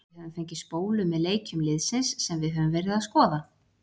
Við höfum fengið spólu með leikjum liðsins sem við höfum verið að skoða.